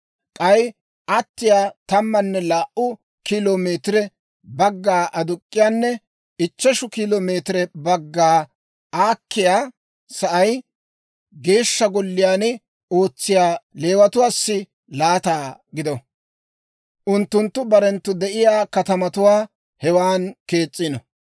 K'ay attiyaa tammanne laa"u kilo meetire bagga aduk'k'iyaanne ichcheshu kilo meetire bagga aakkiyaa sa'ay Geeshsha Golliyaan ootsiyaa Leewatuwaassa laata gido; unttunttu barenttoo de'iyaa katamatuwaa hewan kees's'ino.